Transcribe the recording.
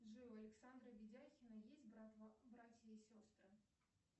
джой у александра видяхина есть братья и сестры